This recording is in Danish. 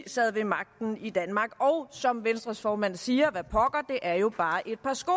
sad ved magten i danmark og som venstres formand siger hvad pokker det er jo bare et par sko